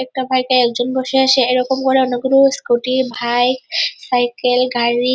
একটা বাইক -এ একজন বসে আছে এরকম করে অন্য কোন স্কুটি বাইক সাইকেল গাড়ি ।